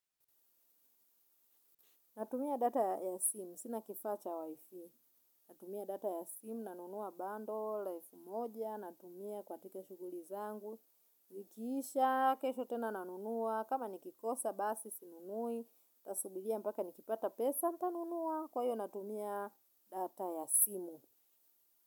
Natumia data ya simu. Sina kifaa cha wi-fi. Natumia data ya simu. Nanunua bando. La elfu moja. Natumia katika shughuli zangu. Zikiisha. Kesho tena nanunua. Kama nikikosa basi sinunui. Tasubiria mpaka nikipata pesa ntanunua. Kwa hiyo natumia data ya simu.